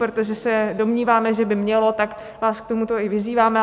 Protože se domníváme, že by mělo, tak vás k tomuto i vyzýváme.